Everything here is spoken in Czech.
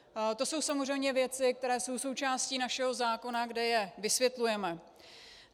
To jsou samozřejmě věci, které jsou součástí našeho zákona, kde je vysvětlujeme.